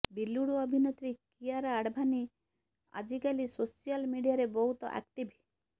ବଲିଉଡ ଅଭିନେତ୍ରୀ କିଆରା ଆଡଭାନୀ ଆଜିକାଲି ସୋସିଆଲ ମିଡିଆରେ ବହୁତ ଆକ୍ଟିଭ